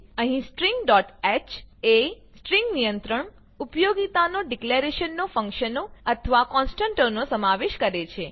અહીં stringહ એ સ્ટ્રિંગ નિયંત્રણ ઉપયોગિતાઓનાં ડીકલેરેશનો ફંક્શનો તથા કોનસ્ટંટોનો સમાવેશ કરે છે